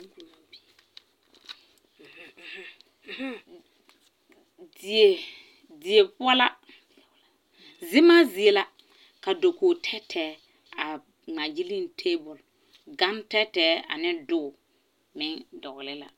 Uhuu uhuu die die poɔ la zemaa zie la ka dakogi tɛɛtɛɛ ŋmaagyile tabol gantɛɛtɛɛ ane doge meŋ dɔglɛɛ la.